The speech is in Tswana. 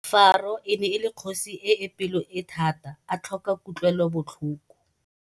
Faro e ne le kgosi e e pelo e thata a tlhoka kutlwelobotlhoko.